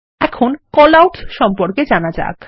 এখন কলআউটস সম্পর্কে জানা যাক